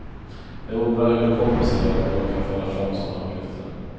Jag undrar hur det kommer sig att någon kan föra fram sådana uppgifter.